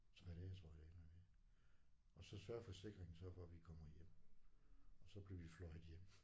3 dage tror jeg det ender med og så sørger forsikringen så for vi kommer hjem og så bliver vi fløjet hjem